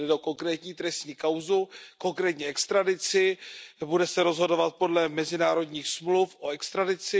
Tady jde o konkrétní trestní kauzu, konkrétní extradici, o té se bude rozhodovat podle mezinárodních smluv o extradici.